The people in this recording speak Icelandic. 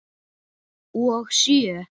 Og sjö?